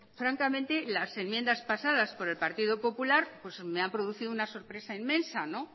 francamente las enmiendas pasadas por el partido popular me han producido una sorpresa inmensa